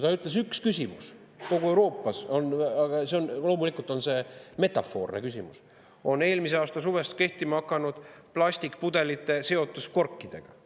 Ta ütles, et üks küsimus kogu Euroopas on – loomulikult on see metafoorne küsimus – eelmise aasta suvest kehtima hakanud plastpudelite seotus korkidega.